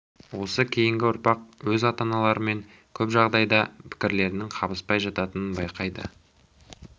осы кейінгі ұрпақ өз ата-аналарымен де көп жағдайда пікірлерінің қабыспай жататынын байқайды